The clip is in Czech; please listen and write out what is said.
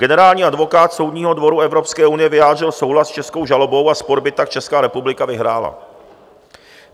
Generální advokát Soudního dvora Evropské unie vyjádřil souhlas s českou žalobou a spor by tak Česká republika vyhrála.